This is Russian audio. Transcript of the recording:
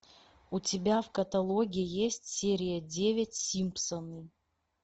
у тебя в каталоге есть серия девять симпсоны